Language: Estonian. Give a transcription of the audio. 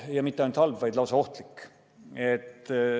Ja mitte ainult halb, vaid lausa ohtlik.